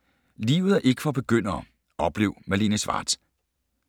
”Livet er ikke for begyndere” - oplev Malene Schwartz